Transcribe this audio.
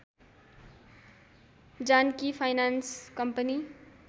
Janaki finance company